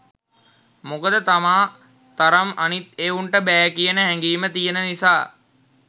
මොකද තමා තරම් අනිත් එවුන්ට බෑ කියන හැඟීම තියන නිසා